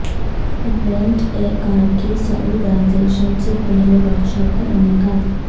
rent a car کی Saudization سے پہلے ورکشاپ کا انعقاد